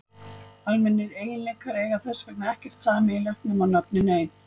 almennir eiginleikar eiga þess vegna ekkert sameiginlegt nema nöfnin ein